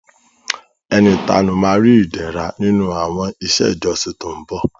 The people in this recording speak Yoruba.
Ẹni ìtanú ma ri Ìdẹ̀ra nínú àwọn iṣẹ́ ìjọsìn tó ń bọ̀